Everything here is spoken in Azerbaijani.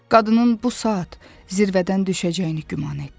Qadının bu saat zirvədən düşəcəyini güman etdi.